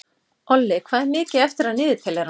Olli, hvað er mikið eftir af niðurteljaranum?